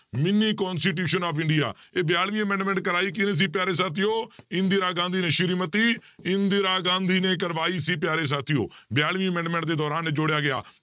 Mini constitution of India, ਇਹ ਬਿਆਲਵੀਂ amendment ਕਰਵਾਈ ਕਿਹਨੇ ਸੀ ਪਿਆਰੇ ਸਾਥੀਓ ਇੰਦਰਾ ਗਾਂਧੀ ਨੇ ਸ੍ਰੀ ਮਤੀ ਇੰਦਰਾ ਗਾਂਧੀ ਨੇ ਕਰਵਾਈ ਸੀ ਪਿਆਰੇ ਸਾਥੀਓ ਬਿਆਲਵੀਂ amendment ਦੇ ਦੌਰਾਨ ਇਹ ਜੋੜਿਆ ਗਿਆ